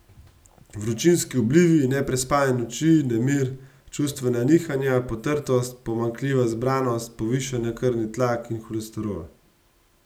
Vročinski oblivi, neprespane noči, nemir, čustvena nihanja, potrtost, pomanjkljiva zbranost, povišana krvni tlak in holesterol.